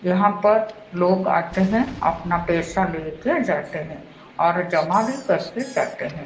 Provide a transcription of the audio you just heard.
यहां पर लोग आते है अपना पेसा लेके जाते है और जमा भी करके जाते है।